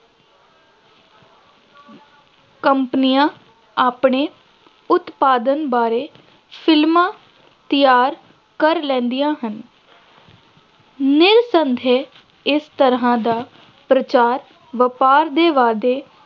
ਕੰਪਨੀਆਂ ਆਪਣੇ ਉਤਪਾਦਨ ਬਾਰੇ ਫਿ਼ਲਮਾਂ ਤਿਆਰ ਕਰ ਲੈਂਦੀਆਂ ਹਨ ਨਿਰਸੰਦੇਹ ਇਸ ਤਰ੍ਹਾ ਦਾ ਪ੍ਰਚਾਰ ਵਪਾਰ ਦੇ ਵਾਧੇ